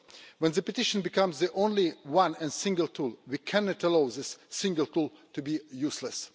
When the petition becomes the only one and single tool, we cannot allow this single tool to be useless.